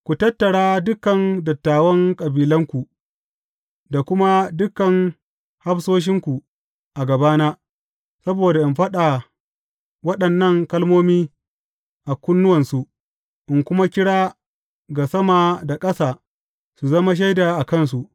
Ku tattara dukan dattawan kabilanku, da kuma dukan hafsoshinku a gabana, saboda in faɗa waɗannan kalmomi a kunnuwansu, in kuma kira ga sama da ƙasa su zama shaida a kansu.